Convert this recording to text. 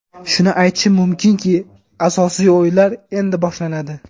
Shuni aytishim mumkinki, asosiy o‘yinlar endi boshlanadi.